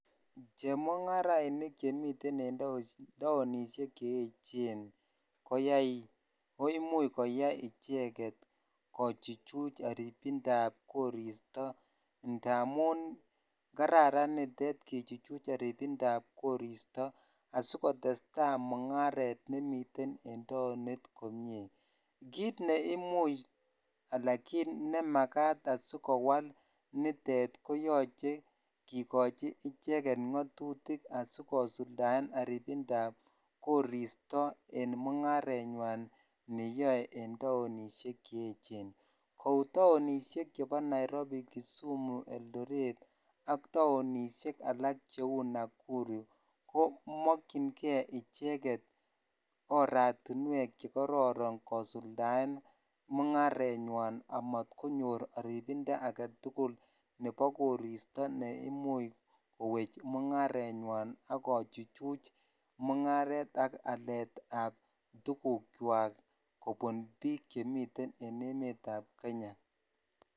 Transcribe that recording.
Chemung'arainik chemiten en taonisiek cheechen koimuch koyai icheget kochuchuch kotitindab koristo ndamun kararan nitet kechuchuch kotitindab koristo asigotestai mungaret nemiten en taonit komie kiit ne imuuch anan kiit ne magaat asigowal nitet koyoche kigochi icheget ngatutik asigosuldaen anyinyindab koristo en mungaret nywan neyoe en taonisiek Chechen kou taonisiek cheu chebo Nairobi, kisumu, eldoret ak taonisiek alak cheu nakuru komokyinge icheget oratinwek chegororon kosuldaen mungaret nywan amat konyor arigind agetugul nebo koristo neimuch kowech mungaret nywan agochuchuch mungaret ak alet tugukwak kobun biik chemiten en emet ab Kenya.